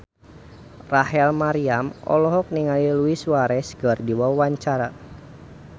Rachel Maryam olohok ningali Luis Suarez keur diwawancara